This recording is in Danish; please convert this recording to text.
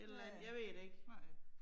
Ja. Nej